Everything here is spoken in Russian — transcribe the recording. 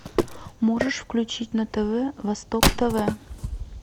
можешь включить на тв восток тв